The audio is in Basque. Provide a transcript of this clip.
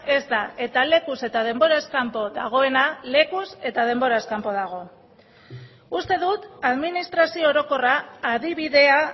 ez da eta lekuz eta denboraz kanpo dagoena lekuz eta denboraz kanpo dago uste dut administrazio orokorra adibidea